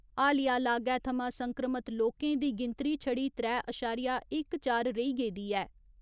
हालिया लागै थमा संक्रमत लोकें दी गिनतरी छड़ी त्रै अशारिया इक चार रेही गेदी ऐ।